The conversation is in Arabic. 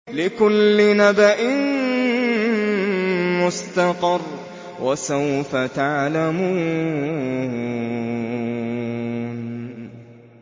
لِّكُلِّ نَبَإٍ مُّسْتَقَرٌّ ۚ وَسَوْفَ تَعْلَمُونَ